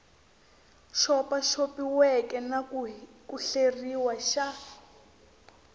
xopaxopiweke na ku hleriwa xa